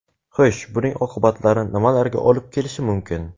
Xo‘sh, buning oqibatlari nimalarga olib kelishi mumkin?